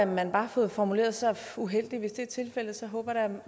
man bare har fået formuleret sig uheldigt hvis det er tilfældet håber jeg da